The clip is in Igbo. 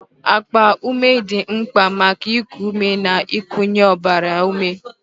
Akpa ume dị mkpa maka iku ume na ikunye ọbara ume